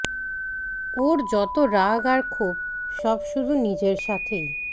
ওর যতো রাগ আর ক্ষোভ সব শুধু নিজের সাথেই